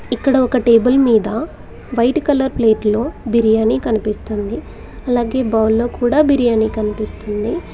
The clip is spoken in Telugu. ఇక్కడ ఒక టేబుల్ మీద వైట్ కలర్ ప్లేట్ లో బిరియాని కనిపిస్తుంది అలాగే బౌల్ లో కుడా బిరియాని కనిపిస్తుంది.